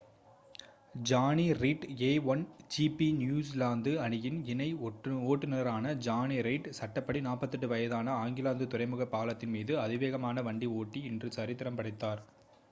Johnny Reid a1 GP New Zealand அணியின் இணை ஓட்டுநரான ஜானி ரீட் சட்டப்படி 48 வயதான ஆக்லாந்து துறைமுகப் பாலத்தின் மீது அதிவேகமாக வண்டி ஓட்டி இன்று சரித்திரம் படைத்தார்